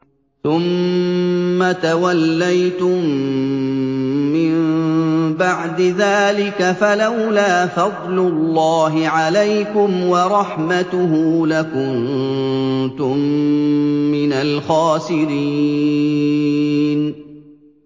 ثُمَّ تَوَلَّيْتُم مِّن بَعْدِ ذَٰلِكَ ۖ فَلَوْلَا فَضْلُ اللَّهِ عَلَيْكُمْ وَرَحْمَتُهُ لَكُنتُم مِّنَ الْخَاسِرِينَ